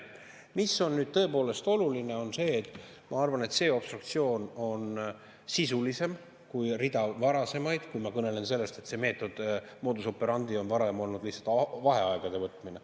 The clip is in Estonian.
Mis on nüüd tõepoolest oluline, on see, et ma arvan, et see obstruktsioon on sisulisem kui rida varasemaid, kui ma kõnelen sellest, et modus operandi on varem olnud lihtsalt vaheaegade võtmine.